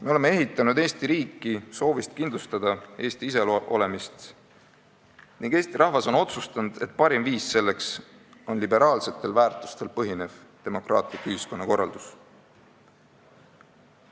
Me oleme ehitanud Eesti riiki soovist kindlustada Eesti iseolemist ning Eesti rahvas on otsustanud, et parim viis selleks on liberaalsetel väärtustel põhinev demokraatlik ühiskonnakorraldus.